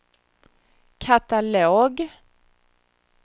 katalog